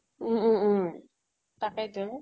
উম উম উম । তাকেই তো